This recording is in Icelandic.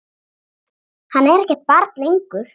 Hann er ekkert barn lengur.